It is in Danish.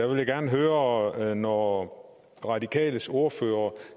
vil gerne høre når radikales ordfører